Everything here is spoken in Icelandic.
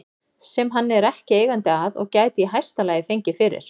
sem hann er ekki eigandi að og gæti í hæsta lagi fengið fyrir